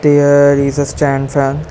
There is a stand fan.